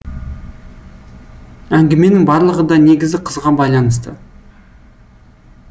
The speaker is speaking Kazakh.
әңгіменің барлығы да негізі қызға байланысты